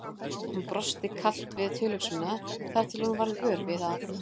Hún brosti kalt við tilhugsunina þar til hún varð vör við að